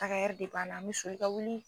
Taga ɛri de b'ala, an bi sɔli ka wuli.